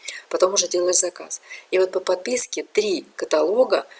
потом уже делала заказ по подписке три каталога